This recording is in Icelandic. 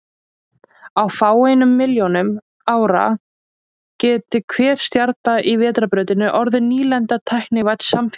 Á fáeinum milljónum árum gæti hver stjarna í Vetrarbrautinni orðið nýlenda tæknivædds samfélags.